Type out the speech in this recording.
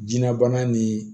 Jinɛ bana ni